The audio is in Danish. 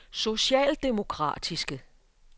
socialdemokratiske